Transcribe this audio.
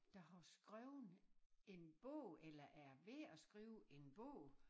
Der har skreven en bog eller er ved at skrive en bog